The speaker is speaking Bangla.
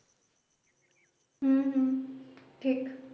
হুম হুম ঠিক